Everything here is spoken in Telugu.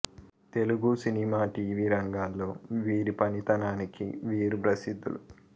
తెలుగు సినిమా టీవీ రంగాల్లో వీరి పనితనానికి వీరు ప్రసిద్ధులు